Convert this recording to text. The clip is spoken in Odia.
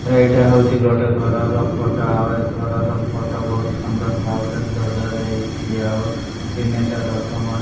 ଏଇଟା ହୋଉଚି ଗୋଟେ ଘରର ଫଟ ଆଉ ଏ ଘରର ଫଟ ବୋହୁତ୍ ସୁନ୍ଦର୍ ଭାବରେ ସଜାଯାଇଚି ଆଉ ତିନିଟା ରଥ --